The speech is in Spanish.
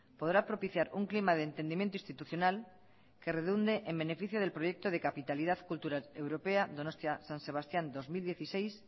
podrá propiciar un clima de entendimiento institucional que redunde en beneficio del proyecto de capitalidad cultural europea donostia san sebastián dos mil dieciséis